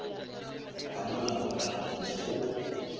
ka molao wa palamente go